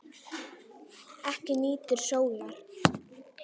Ekki nýtur sólar.